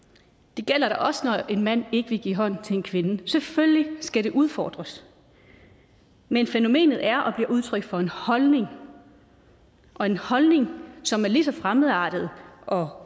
det gælder da også når en mand ikke vil give hånd til en kvinde selvfølgelig skal det udfordres men fænomenet er og bliver udtryk for en holdning og en holdning som er lige så fremmedartet og